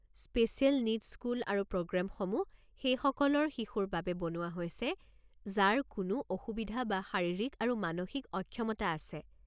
Special needs school আৰু প্ৰগ্ৰামসমূহ সেইসকলৰ শিশুৰ বাবে বনোৱা হৈছে যাৰ কোনো অসুবিধা বা শাৰীৰিক আৰু মানসিক অক্ষমতা আছে।